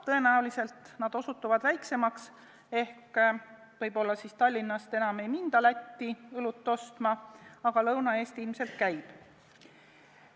Tõenäoliselt need osutuvad väiksemaks, võib-olla Tallinnast enam ei minda Lätti õlut ostma, aga Lõuna-Eesti ilmselt jääb.